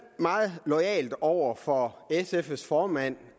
meget loyalt over for sfs formand